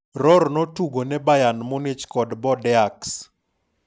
Rohr notugone Bayern Munich kod Bordeaux.